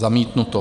Zamítnuto.